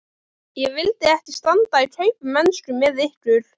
Ég vildi ekki standa í kaupmennsku með ykkur!